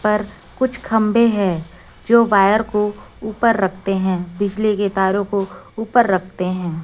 ऊपर कुछ खम्भे है जो वायर को ऊपर रखते है बिजली के तारों को ऊपर रखते है।